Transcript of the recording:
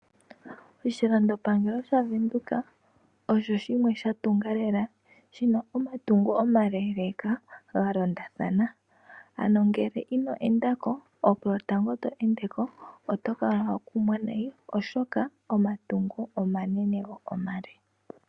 Oshilandopangelo shaVenduka osho shimwe sha tunga lela, shi na omatungo omaleeleeka ga londathana. Ano ngele ino enda ko, opo lwotango to ende ko oto kala wa kumwa nayi, oshoka omatungo omanene go omale.